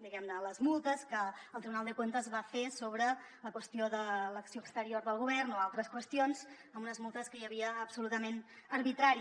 diguem ne les multes que el tribunal de cuentas va fer sobre la qüestió de l’acció exterior del govern o altres qüestions amb unes multes que hi havia absolutament arbitràries